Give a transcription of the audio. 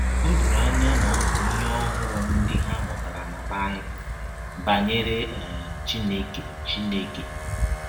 Ọ dọrọ anya na ọ bụ ihe ọhụrụ ndị ha mụtara na Baịbụl banyere um Chineke Chineke.